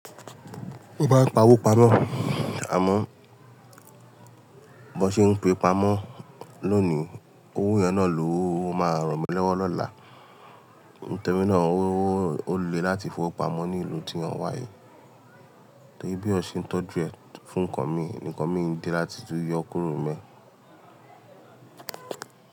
Ó bá ń pa owó pamọ́, àmọ́ bó ṣe ń pe pamọ́ looni owó yen na lò máa ràn mí lọ́wọ́ lọ́la. Nítorí náà owó ó le láti fowó pamọ́ ní ìlú tí òun wà yìí, torí bí ó ṣe ń tọ́jú ẹ fún ǹkan mi, ǹkan mi di láti yọ kóró mi.